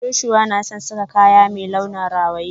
Joshua na son sa kaya mai launin rawaye.